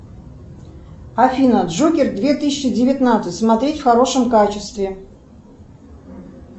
афина джокер две тысячи девятнадцать смотреть в хорошем качестве